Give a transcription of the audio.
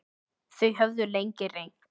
Þau höfðu lengi reynt.